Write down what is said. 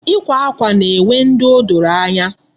Ikwa akwa na-enwe ndị o doro anya.